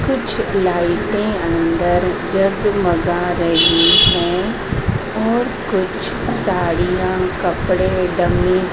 कुछ लाइटे अंदर जगमगा रही हैं और कुछ साड़ियां कपड़े डमी --